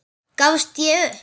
Gafst ég upp?